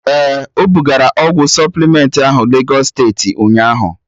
Ee, ebugara ọgwụ supplement ahụ Legọs steeti ụnyaahụ